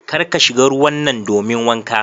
Kar ka shiga ruwan nan domin wanka.